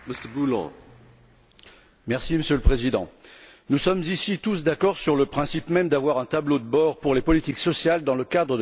Monsieur le Président, nous sommes ici tous d'accord sur le principe même d'avoir un tableau de bord pour les politiques sociales dans le cadre de la surveillance macroéconomique.